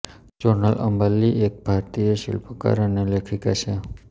સોનલ અંબાણી એક ભારતીય શિલ્પકાર અને લેખિકા છે